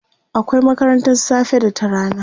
akwai makarantan safe da ta rana